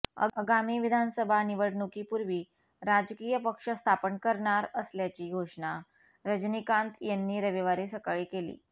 आगामी विधानसभा निवडणुकीपूर्वी राजकीय पक्ष स्थापन करणार असल्याची घोषणा रजनीकांत यांनी रविवारी सकाळी केली